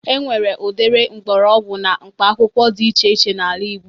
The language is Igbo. E nwere udiri mgbọrọgwụ na mkpaakwụkwọ di ihe iche n'ala igbo.